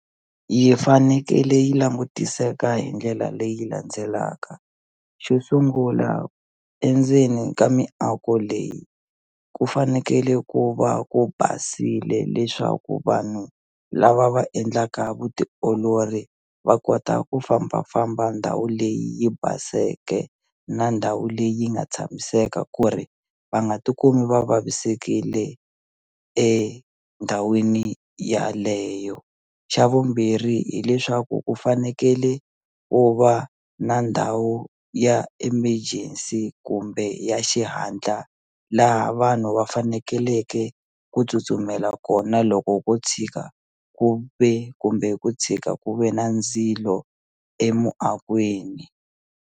Yi fanekele yi langutiseka hi ndlela leyi landzelaka xo sungula endzeni ka miako leyi ku fanekele ku va ku basile leswaku vanhu lava va endlaka vutiolori va kota ku fambafamba ndhawu leyi yi baseke na ndhawu leyi yi nga tshamiseka ku ri va nga ti kumi va vavisekile endhawini yaleyo xa vumbirhi hileswaku ku fanekele ku va na ndhawu ya emergency kumbe ya xihatla laha vanhu va fanekeleke ku tsutsumela kona loko ko tshika ku ve kumbe ku tshika ku ve na ndzilo emuakweni.